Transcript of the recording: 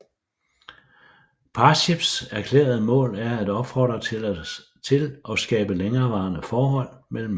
Parships erklærede mål er at opfordre til og skabe længerevarende forhold mellem mennesker